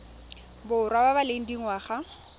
borwa ba ba leng dingwaga